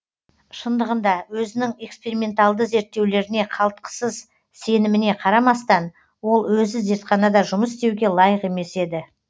шындығында өзінің эксперименталды зерттеулеріне қалтықсыз сеніміне қарамастан ол өзі зертханада жұмыс істеуге лайық емес еді